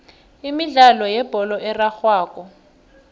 imidlalo yebholo erarhwako